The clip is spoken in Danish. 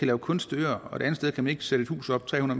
lave kunstige øer og det andet sted kan man ikke sætte et hus op tre